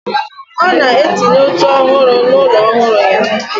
Ona etinye oche ohuru na ulo ohuru ya.